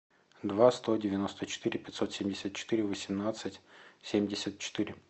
два сто девяносто четыре пятьсот семьдесят четыре восемнадцать семьдесят четыре